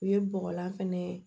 U ye bɔgɔlan fɛnɛ ye